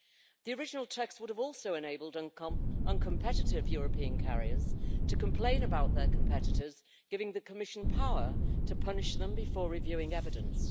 The original text would also have enabled uncompetitive European carriers to complain about their competitors, giving the Commission power to punish them before reviewing evidence.